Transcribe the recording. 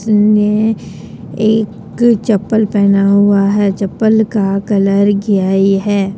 एक चप्पल पहना हुआ है चप्पल का कलर किया है।